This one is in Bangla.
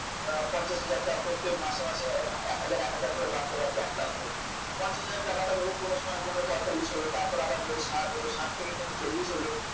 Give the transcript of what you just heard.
আপনার পঞ্চাশ হাজার টাকা প্রত্যেক মাসে মাসে এক হাজার এক হাজার করে বাড়তে বাড়তে এক লাখ টাকা হবে পঞ্চাশ হাজার টাকাটা ধরুন কোন সময় কমে পয়ঁতাল্লিশ হলো কখনো আবার বেড়ে ষাট হলো ষাট থেকে কমে চল্লিশ হল